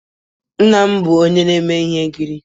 Nna m bụ onye na-eme ihe nkiri